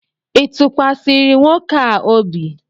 ị tụkwasịrị nwoke a obi?